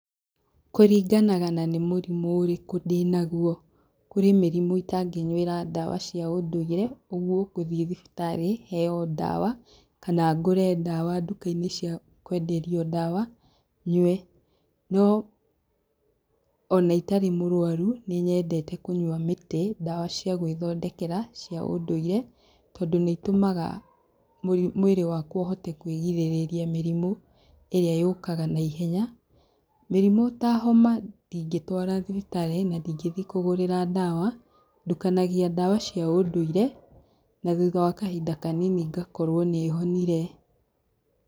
Kũringanaga na nĩ mũrimũ ũrĩkũ ndĩnaguo. Kũrĩ mĩrimũ itangĩnyuĩra ndawa cia ũndũire, ũguo, ngũthiĩ thibitari heo ndawa, kana ngũre ndawa nduka-inĩ cia kũenderio ndawa, nyue. No, ona itarĩ mũrũaru, nĩ nyendte kũnyua mĩtĩ, ndawa cia gũĩthondekera cia ũndũire, tondũ nĩ itũmaga mwĩrĩ wakwa ũhote kũigĩrĩrĩria mĩrimũ, ĩrĩa yũkaga naihenya. Mĩrimũ ta homa ndingĩtwara thibitari, na ndingĩthi kũgũrĩra ndawa. Ndukanagia ndawa cia ũndũire, na thutha wa kahinda kanini, ngakorwo nĩ honire.